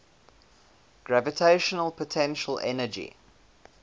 gravitational potential energy